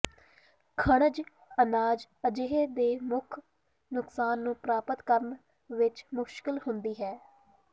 ਖਣਿਜ ਅਨਾਜ ਅਜਿਹੇ ਦੇ ਮੁੱਖ ਨੁਕਸਾਨ ਨੂੰ ਪ੍ਰਾਪਤ ਕਰਨ ਵਿੱਚ ਮੁਸ਼ਕਲ ਹੁੰਦੀ ਹੈ